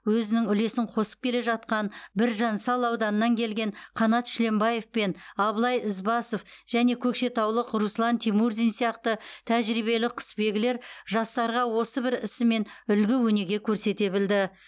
өзінің үлесін қосып келе жатқан біржан сал ауданынан келген қанат шүленбаев пен абылай ізбасов және көкшетаулық руслан тимурзин сияқты тәжірбиелі құсбегілер жастарға осы бір ісімен үлгі өнеге көрсете білді